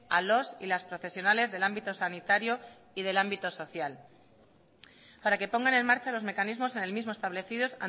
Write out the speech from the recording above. a los y las profesionales del ámbito sanitario y del ámbito social para que pongan en marcha los mecanismos en el mismo establecidos